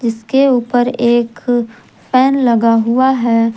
इसके ऊपर एक फैन लगा हुआ है।